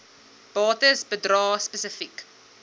bates bedrae spesifiek